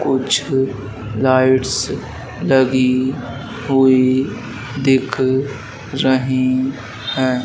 कुछ लाइट्स लगी हुई दिख रही है।